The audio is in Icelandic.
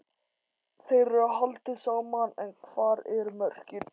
Þeim er haldið saman en hvar eru mörkin?